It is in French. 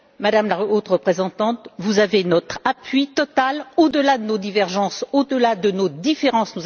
Madame la Haute représentante, vous avez notre appui total au delà de nos divergences et de nos différences